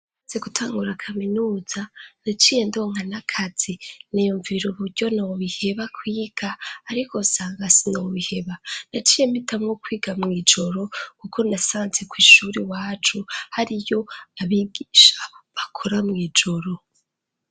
Nje gutangura kaminuza, naciye ndonka n'akazi niyumvira uburyo nobiheba kwiga, ariko sanga sinobiheba, naciye mpitamwo kwiga mw'ijoro kuko nasanze kw'ishure iwacu hariyo abigisha bakora mw'ijoro.